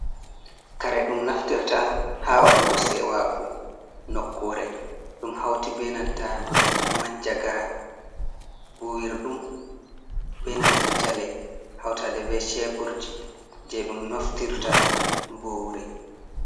Kare ɗum naftirta ha waɗugo sewaku nokkure, ɗum hauti benanta manjagara, buwirɗum, benanta jale hautaɗe be ceburji je ɗum naftirta buwuri.